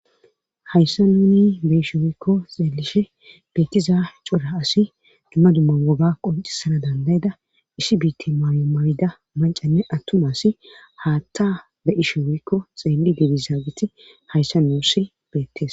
Hayssa nuuni be'ishe woykko xeelishe beekiza cura asi dumma dumma woga qoncisana dandayda isi biitti mayyo mawida mancanne attuma asi haatta be isheweykko xeelli dibizaageti hayssa nuussi beettes.